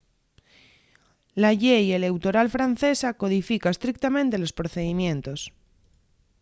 la llei eleutoral francesa codifica estrictamente los procedimientos